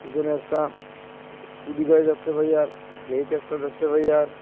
পিছনে একটা স্কুটি গাড়ি দেখতে পাই আর গেইট একটা দেখতে পাই আর।